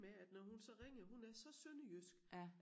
Med at når hun så ringer hun er så sønderjysk